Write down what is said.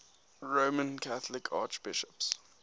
roman catholic archbishops